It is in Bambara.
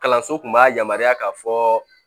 Kalanso kun b'a yamaruya k'a fɔ